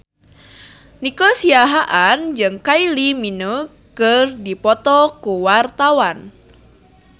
Nico Siahaan jeung Kylie Minogue keur dipoto ku wartawan